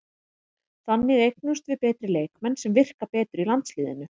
Þannig eignumst við betri leikmenn sem virka betur í landsliðinu.